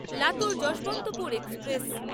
Latur Yesvantpur express